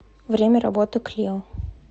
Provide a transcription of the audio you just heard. время работы клио